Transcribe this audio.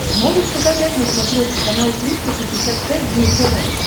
можешь показать на смотрешке канал триста шестьдесят пять дней тв